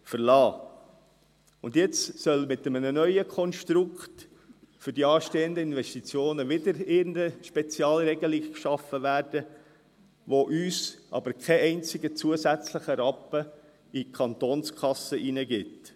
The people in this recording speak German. Für die anstehenden Investitionen soll nun mit einem neuen Konstrukt wieder irgendeine Spezialregelung geschaffen werden, die uns aber keinen einzigen zusätzlichen Rappen in die Kantonskasse bringt.